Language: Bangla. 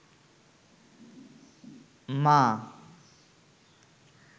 মা